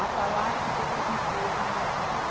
a falar que o setor vinte e dois não ia sair.